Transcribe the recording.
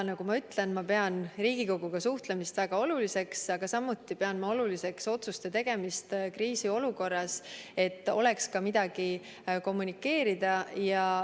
Nagu ma ütlesin, pean ma Riigikoguga suhtlemist väga oluliseks, aga samuti pean ma oluliseks otsuste tegemist kriisiolukorras, et oleks midagi kommunikeerida.